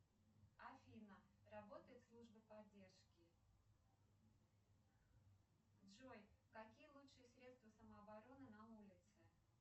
афина работает служба поддержки джой какие лучшие средства самообороны на улице